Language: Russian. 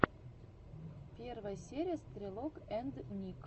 первая серия стрелок энд ник